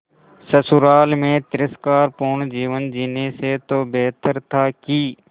ससुराल में तिरस्कार पूर्ण जीवन जीने से तो बेहतर था कि